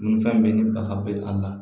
Nun fɛn bɛ ni nafa bɛ a la